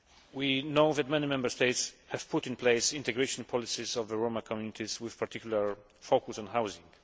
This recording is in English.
We know that many Member States have put in place integration policies of the Roma communities with particular focus on housing.